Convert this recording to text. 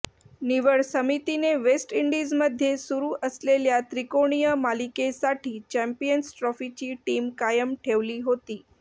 निवड समितीने वेस्ट इंडिजमध्ये सुरू असलेल्या त्रिकोणीय मालिकेसाठी चॅम्पियन्स ट्रॉफीची टीम कायम ठेवली होती